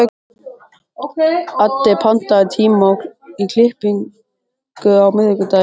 Addi, pantaðu tíma í klippingu á miðvikudaginn.